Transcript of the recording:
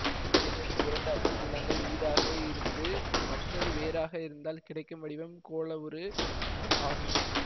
ஏதேனும் இரண்டு அச்சு நீளங்கள் ஈடாக இருந்து மற்றது வேறாக இருந்தால் கிடைக்கும் வடிவம் கோளவுரு ஆகும்